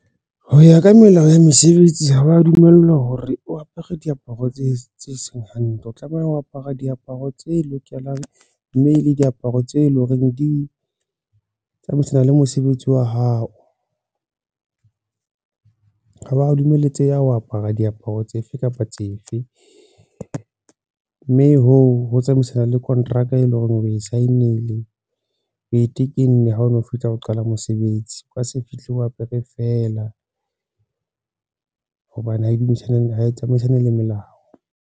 Ho ya ka melao ya mesebetsi, ha wa dumellwa hore o apere diaparo tse seng hantle o tlameha ho apara diaparo tse lokelang mme le diaparo tse leng hore di tsamaisana le mosebetsi wa hao, ha hwa dumeletseha ho apara diaparo tsefe kapa tsefe mme hoo ho tsamaisane le kontraka e leng hore, o e sign-ile oe tekenne ha o no fetsa ho qala mosebetsi, o ka se fihle ho apere fela hobane hae tsamaisane le melao.